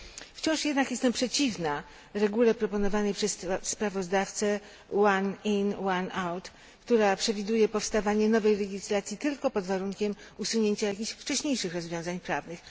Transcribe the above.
Wciąż jednak jestem przeciwna regule proponowanej przez sprawozdawcę one in one out, która przewiduje powstawanie nowej legislacji tylko pod warunkiem usunięcia jakichś wcześniejszych rozwiązań prawnych.